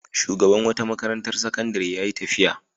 Shugaban wata makarantar sakandare ya yi tafiya.